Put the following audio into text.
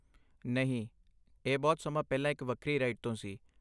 ਨਹੀਂ, ਇਹ ਬਹੁਤ ਸਮਾਂ ਪਹਿਲਾਂ ਇੱਕ ਵੱਖਰੀ ਰਾਈਡ ਤੋਂ ਸੀ।